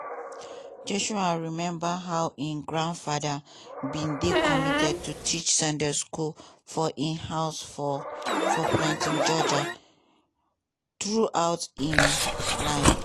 joshua remember how im grandfather bin dey committed to teach sunday school for im home for for plains georgia throughout im life.